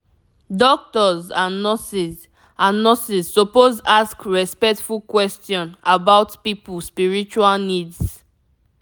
doctors and nurses and nurses suppose ask respectful question about people spiritual needs